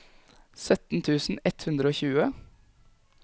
sytten tusen ett hundre og tjue